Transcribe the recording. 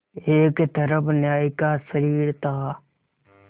एक तरफ न्याय का शरीर था